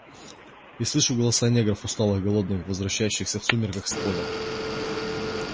и слышу голоса негров усталых голодных возвращающихся в сумерках с поля